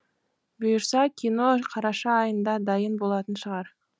бұйыртса кино қараша айында дайын болатын шығар